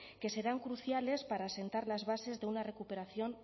que serán cruciales para asentar las bases de una recuperación